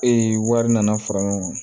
wari nana fara ɲɔgɔn kan